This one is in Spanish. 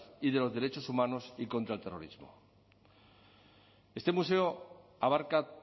y de los derechos humanos y contra el terrorismo este museo abarca